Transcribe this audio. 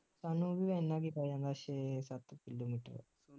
ਸਾਨੂੰ ਵੀ ਇੰਨਾ ਕਿ ਪੈ ਜਾਂਦਾ ਛੇ ਸੱਤ ਕਿਲੋਮੀਟਰ